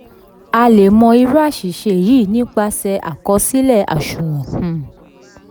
a lè mọ irú aṣìṣe yìí nípasẹ̀ àkọsílẹ aṣunwon. um